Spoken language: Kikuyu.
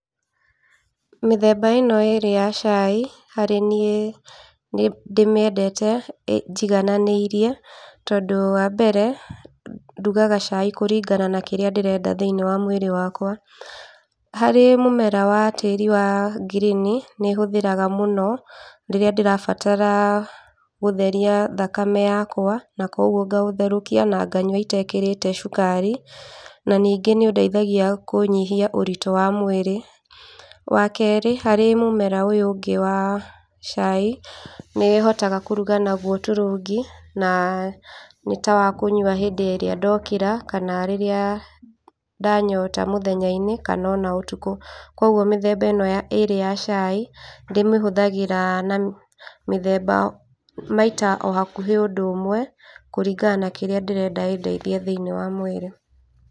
Mĩthemba ĩno ĩrĩ ya cai, harĩ niĩ nĩ ndĩmĩendete njigananĩirie, tondũ wa mbere ndugaga cai kũringana na kĩrĩa ndĩrenda thĩinĩ wa mwĩrĩ wakwa, harĩ mũmera wa tĩri wa ngirini, nĩ hũthagĩra mũno rĩrĩa ndĩrabatara gũtheria thakame yakwa, na kwoguo ngaũtherũkia na nganyua itekĩrĩte cukari, na ningĩ nĩ ũndeithagia kũnyihia ũritũ wa mwĩrĩ, wa kerĩ harĩ mũmera ũyũ ũngĩ wa cai, nĩ hotaga kũruga naguo turungi, na nĩ tawakũnywa hĩndĩ ĩrĩa ndokĩra, kana rĩrĩa ndanyota mũthenya-inĩ kana ona ũtukũ, kwoguo mĩthemba ĩno ĩrĩ ya cai, nĩ ndĩmĩhũthagĩra na mĩthemba maita o hakuhi ũndũ ũmwe, kũringana na kĩrĩa ndĩrenda ĩndeithie thĩinĩ wa mwĩrĩ.